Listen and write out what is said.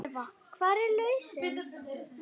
Eva: Hver er lausnin?